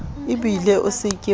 ebile o se ke wa